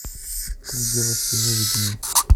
три девушки выведи мне